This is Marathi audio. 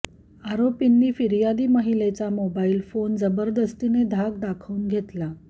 आरोपींनी फिर्यादी महिलेचा मोबाईल फोन जबरदस्तीने धाक दाखवून घेतला